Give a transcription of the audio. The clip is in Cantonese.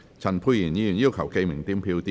陳沛然議員要求點名表決。